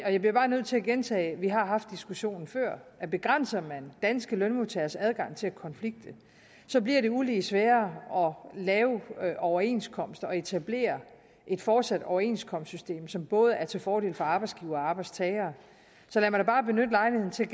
jeg bliver bare nødt til at gentage vi har haft diskussionen før at begrænser man danske lønmodtageres adgang til at konflikte så bliver det uligt sværere at lave overenskomster og etablere et fortsat overenskomstsystem som både er til fordel for arbejdsgivere og arbejdstagere så lad mig bare benytte lejligheden til at